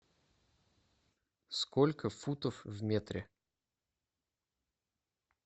сколько футов в метре